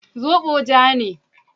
Zobo ja ne.